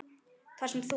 Þar sem þú